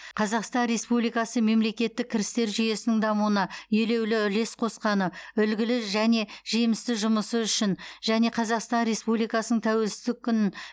қазақстан республикасы мемлекеттік кірістер жүйесінің дамуына елеулі үлес қосқаны үлгілі және жемісті жұмысы үшін және қазақстан республикасының тәуелсіздік күнін